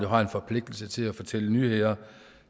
har en forpligtelse til at fortælle nyheder